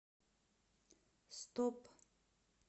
стоп